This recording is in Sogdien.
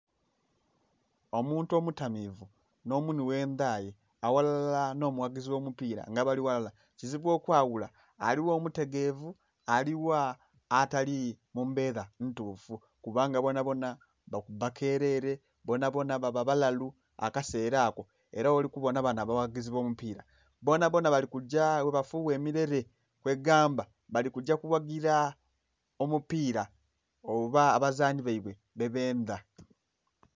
Omuntu omutamivu n'omunhwi oghendhaye aghalala nomughagizi ogh'omupira nga bali ghalala kizibu okwaghula aligha omutegevu, aligha atali mumbera ntufu kubanga bonabona bakuba kerere bonabona baba balalu akasera ako era gholikubona bano abaghagezi abomupira bonabona balikugya bwabafugha emirere kwegamba balikugya okughagira omupira oba abazani baibwe bebendha.